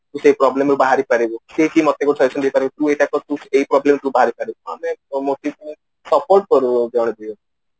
ତୁ ସେଇ problem ରୁ ସେ ବାହାରି ପାରିବୁ ସିଏ କି ମତେ ବି ଆଶ୍ବେସନା ଦେଇପାରେ କି ତୁ ଏଇଟା କରେ ତୁ ଏଇ problem ରୁ ବାହାରି ପାରିବୁ ଆମେ support କରୁ ଜଣକୁ ଜଣକୁ